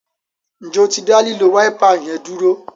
Njé o tí da lilo Wáípà yén dúró?